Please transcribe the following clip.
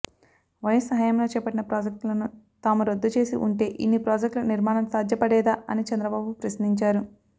YS హయాంలో చేపట్టిన ప్రాజెక్టులను తాము రద్దు చేసి ఉంటే ఇన్ని ప్రాజెక్టులు నిర్మాణం సాధ్యపడేదా అని చంద్రబాబు ప్రశ్నించారు